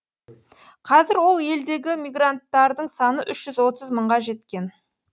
қазір ол елдегі мигранттардың саны үш жүз отыз мыңға жеткен